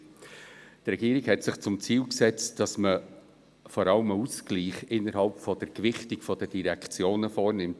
Die Regierung hatte sich zum Ziel gesetzt, dass man vor allem einen Ausgleich innerhalb der Gewichtung der Direktionen vornimmt.